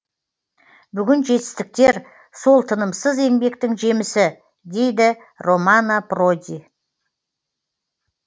бүгінгі жетістіктер сол тынымсыз еңбектің жемісі дейді романо проди